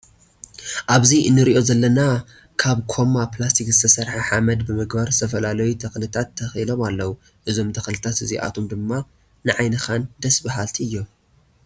ኣብዚ እንሪኦ ዘለና ካብ ኮማ ፕላስቲክ ዝተሰርሑ ሓመድ ብምግባር ዝተፈላለዩ ተክልታት ተኪሎም ኣለው። እዞም ተክሊታት እዚኣቶም ድማ ንዓይንካን ደስ ባሃልቲ እዮም።